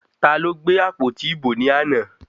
Taló gbé àpótí ìbò ní àná?